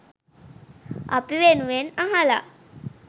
අපි වෙනුවෙන් අහලා